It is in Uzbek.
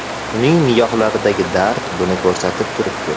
Uning nigohlaridagi dard buni ko‘rsatib turibdi.